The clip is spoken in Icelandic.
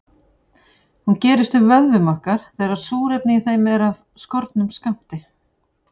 Hún gerist í vöðvum okkar þegar súrefni í þeim er af skornum skammti.